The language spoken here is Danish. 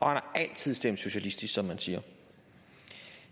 har altid stemt socialistisk som han siger